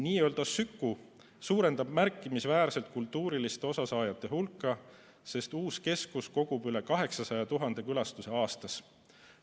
Nii-öelda Süku suurendab märkimisväärselt kultuurist osasaajate hulka, sest uus keskus kogub üle 800 000 külastuse aastas.